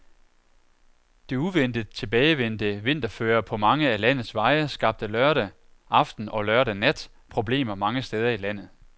Det uventet tilbagevendte vinterføre på mange af landets veje skabte lørdag aften og lørdag nat problemer mange steder i landet.